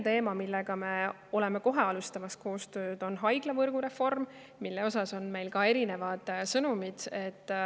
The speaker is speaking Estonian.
Teine kohe algava koostöö teema on haiglavõrgureform, mille kohta on olnud erinevaid sõnumeid.